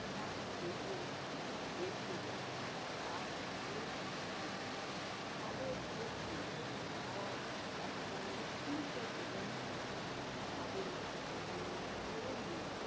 সেনাকে দেখলে এড়িয়ে যায়। তারাও বাদল তাদের দোষ নেই, তারা একটা নিশ্চিন্ত জীবন চায়। তাদের উম সম্বন্ধে